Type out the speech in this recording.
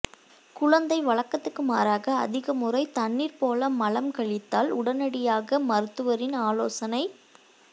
குழந்தை வழக்கத்துக்கு மாறாக அதிக முறை தண்ணீர் போல மலம் கழித்தால் உடனடியாக மருத்துவரின் ஆலோசனை